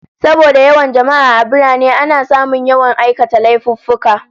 Saboda yawan jama'a a birane, ana samun yawan aikata laifuffuka